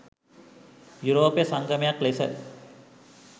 යුරෝපය සංගමයක් ලෙස